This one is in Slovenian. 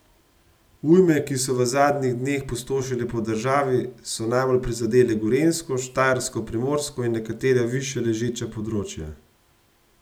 Ujme, ki so v zadnjih dneh pustošile po državi, so najbolj prizadele Gorenjsko, Štajersko, Primorsko in nekatera višje ležeča področja.